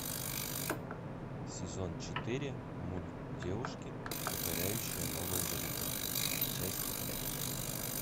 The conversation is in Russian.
сезон четыре мульт девушки покоряющие новые горизонты часть пять